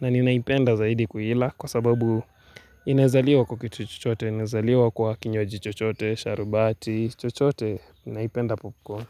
na ninaipenda zaidi kuila kwa sababu inaezaliwa kwa kitu chochote, inaezaliwa kwa kinywaji chochote, sharubati, chochote ninaipenda popcorn.